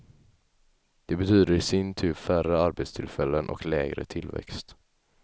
Det betyder i sin tur färre arbetstillfällen och lägre tillväxt.